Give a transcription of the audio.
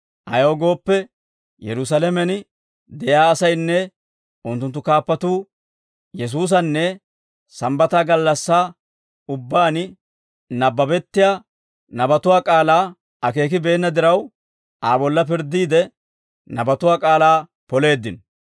Ayaw gooppe, Yerusaalamen de'iyaa asaynne unttunttu kaappatuu Yesuusanne Sambbata gallassaa ubbaan nabbabettiyaa nabatuwaa k'aalaa akeekibeenna diraw, Aa bolla pirddiide, nabatuwaa k'aalaa poleeddino.